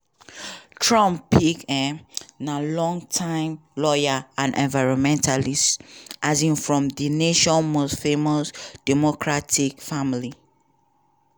trump pick um na longtime lawyer and environmentalist um from di nation most famous democratic family.